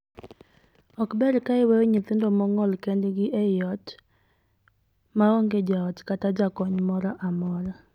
Ok ber ka iweyo nyithindo mong'ol kendgi ei ot ma onge jaot kata jakony moro amora.